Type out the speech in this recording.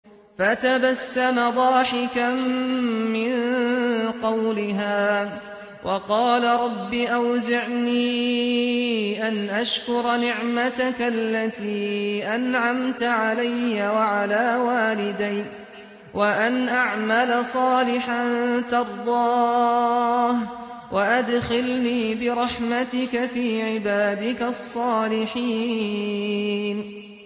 فَتَبَسَّمَ ضَاحِكًا مِّن قَوْلِهَا وَقَالَ رَبِّ أَوْزِعْنِي أَنْ أَشْكُرَ نِعْمَتَكَ الَّتِي أَنْعَمْتَ عَلَيَّ وَعَلَىٰ وَالِدَيَّ وَأَنْ أَعْمَلَ صَالِحًا تَرْضَاهُ وَأَدْخِلْنِي بِرَحْمَتِكَ فِي عِبَادِكَ الصَّالِحِينَ